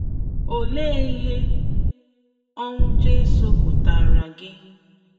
Olee ihe ọnwụ Jizọs pụtaara gị?